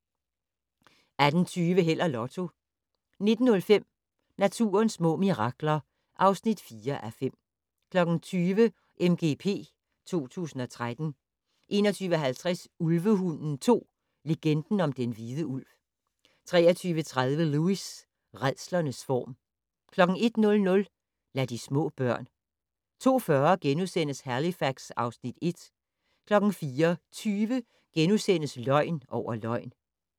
18:20: Held og Lotto 19:05: Naturens små mirakler (4:5) 20:00: MGP 2013 21:50: Ulvehunden 2: Legenden om den hvide ulv 23:30: Lewis: Rædslens form 01:00: Lad de små børn 02:40: Halifax (Afs. 1)* 04:20: Løgn over løgn *